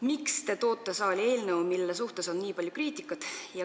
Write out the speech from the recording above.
Miks te toote saali eelnõu, mille kohta on nii palju kriitikat?